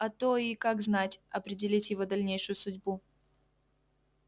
а то и как знать определить его дальнейшую судьбу